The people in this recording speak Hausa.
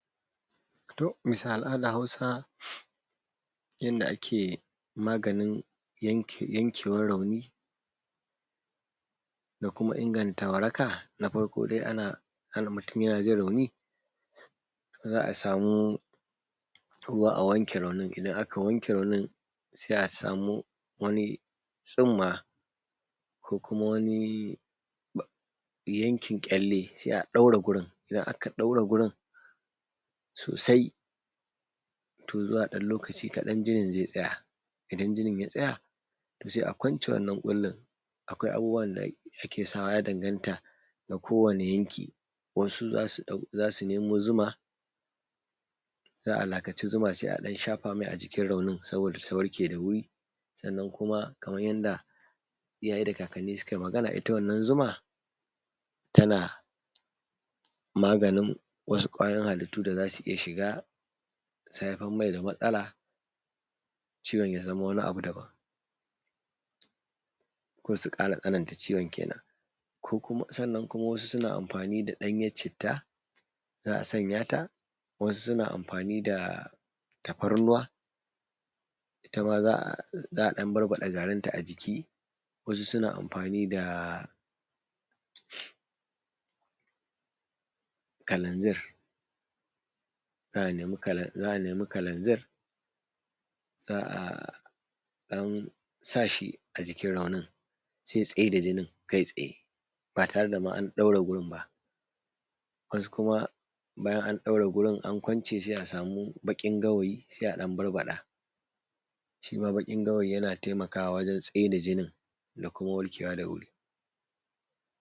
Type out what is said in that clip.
Duk bisa al'adar hausa yadda ake maganin yankewar rauni da kuma inganta waraka. Na farko dai mutum yana jin rauni za a samu ruwa a wanke raunin. Idan aka wanke raunin sai a samu wani tsumma ko kuma wani yankin ƙyale sai a ɗaure wurin. Idan aka daure wurin sosai to zuwa ɗan lokaci kaɗan jinin zai tsaya. Idan jinin ya tsaya, to sai a kwance wannan ƙullin, akwai abubuwan da ake sawa, to ya danganta da kowane yanki. Wasu za su nemo zuma za a lakaci zuma sai a ɗan lasa masa a cikin raunin don ya warke da wuri. Sannan kuma kamar yadda iyaye da kakanni su su ka yi Magana, ita wannan zuma, tana maganin wasu kwayoyin halittu da za su iya shiga su haifar mai da matsala, ciwon ya zamo wani abu daban, ko su ƙara tsananta ciwon kenan. sannan kuma wasu suna amfani da ɗanyar citta, za a sanya ta, wasu suna amfani da tafarnuwa, itama za a ɗan barbaɗa garin ta a ciki. Wasu suna amfani da kalanzir, za a nemi kalanzir, za a ɗan sa shi a jikin raunin sai ya tsaida jinin kai tsaye ba tare da an ma ɗaure wurin ba. Wasu kuma bayan an ɗaure wurin an kwance, sai a samu baƙin gawayi, sai a ɗan barbaɗa. Shima baƙin gawayi yana taimakawa wajan tsaida jinin da kuma warke wa da wuri.